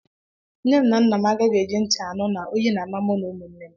Nne m na nna m agaghị eji ntị anụ na oyi na- ama mụ na ụmụnne m